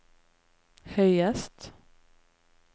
høyest